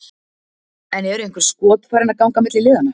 En eru einhver skot farin að ganga milli liðanna?